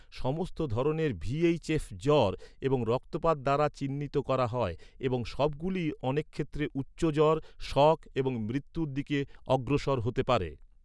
সমস্ত ধরণের ভি.এইচ.এফ, জ্বর এবং রক্তপাত দ্বারা চিহ্নিত করা হয় এবং সবগুলিই অনেক ক্ষেত্রে উচ্চ জ্বর, শক এবং মৃত্যুর দিকে অগ্রসর হতে পারে।